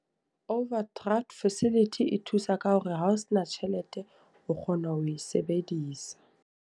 Overdraft facility e thusa ka hore ha o sena tjhelete, o kgona ho e sebedisa.